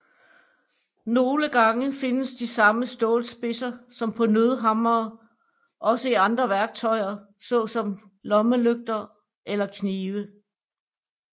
Nogle gange findes de samme stålspidser som på nødhammere også i andre værktøjer såsom lommelygter eller knive